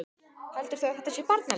Heldurðu að þetta sé barnaleikfang?